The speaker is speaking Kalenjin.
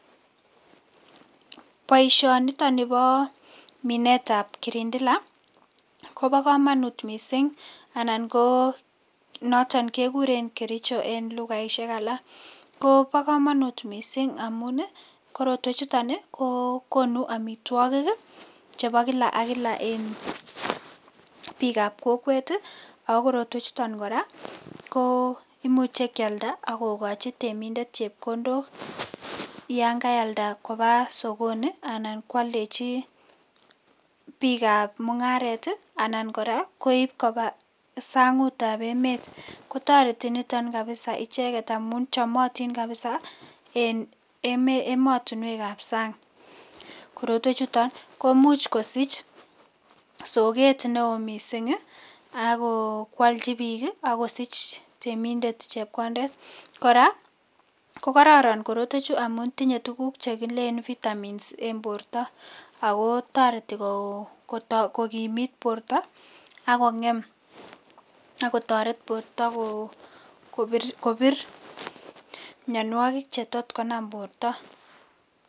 Boisionitoni bo minetab kirindila kobo kamanut mising, anan ko noton kekuren kericho en lugaisiek alak, ko bo kamanut mising amun ii, korotwechuton ii ko konu amitwogik chebo kila ak kila en piikab kokwet ii, ako korotwechuton kora ko imuche kyalda ak kokochi temindet chepkondok yan kayalda koba sokoni anan kwaldechi piikab mungaret ii, anan kora koip koba sangutab emet. Kotoreti niton kabisa icheket amu chomotin kabisa en emotinwekab sang. korotwechuton komuch kosich soket ne oo mising ii, ako kwalchi piik ii akosich temindet chepkondet, kora ko kororon korotwechu amun tinye tukuk che kilen vitamins en borta, ako toreti kokimit borta ak kongem ak kotoret borta kobir mionwogik che tot konam borta.